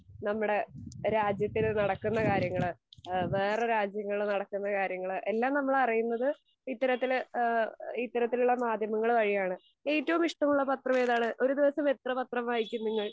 ഏഹ് നമ്മുടെ രാജ്യത്തില് നടക്കുന്ന കാര്യങ്ങള് എഹ് വേറെ രാജ്യങ്ങളിൽ നടക്കുന്ന കാര്യങ്ങൾ എല്ലാം നമ്മൾ അറിയുന്നത് ഇത്തരത്തിൽ ഈഹ് ഇത്തരത്തിലുള്ള മാധ്യമങ്ങൾ വഴിയാണ്. ഏറ്റവും ഇഷ്ടമുള്ള പത്രം ഏതാണ്? ഒരു ദിവസം എത്ര പത്രം വായിക്കും നിങ്ങൾ?